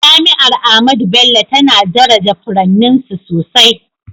Jami’ar Ahmadu Bello tana daraja furanninsu sosai